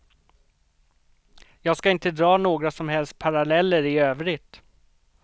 Jag ska inte dra några som helst paralleller i övrigt.